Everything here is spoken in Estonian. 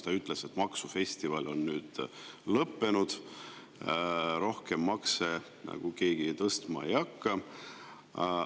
Tema ütles, et maksufestival on nüüd lõppenud ja rohkem keegi makse tõstma ei hakka.